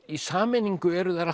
í sameiningu eru þær